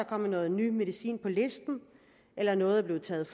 kommet noget ny medicin på listen eller noget er blevet taget